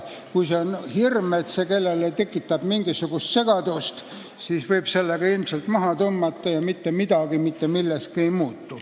Kui on hirm, et see tekitab kellelegi mingisugust segadust, siis võib selle ka ilmselt maha tõmmata – mitte midagi mitte milleski ei muutu.